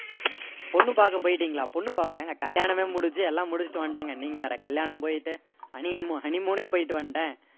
பொண்ணு பார்க்க போயிட்டீங்களா பொண்ணு பார்க்கவா எங்க கல்யாணமே முடிச்சிட்டு எல்லாம் முடிச்சிட்டு வந்துட்டேங்க நீங்க வேற கல்யாணம் போயிட்டு honey honey moon னே போயிட்டு வந்துட்டேன்